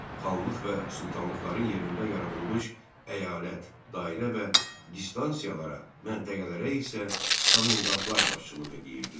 Xanlıq və sultanlıqların yerində yaradılmış əyalət, dairə və distansiyalara, məntəqələrə isə komendantlar başçılıq edirdilər.